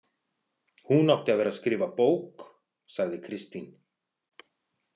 Hún átti að vera að skrifa bók, sagði Kristín.